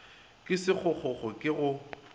ke sekgokgokgo sekgokgokgo ke go